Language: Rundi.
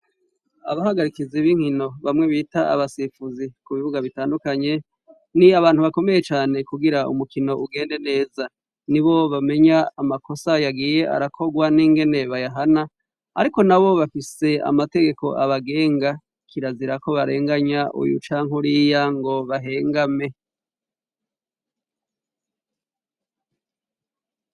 Abahagarikizi b'inkino, bamwe bita abasifuzi, ku bibuga bitandukanye, ni abantu bakomeye cane kugira umukino ugende neza. Ni bo bamenya amakosa yagiye arakogwa n'ingene bayahana, ariko na bo bafise amategeko abagenga. Kirazira ko barenganya uyu canke uriya ngo bahengame.